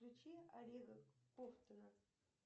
включи олега ковтуна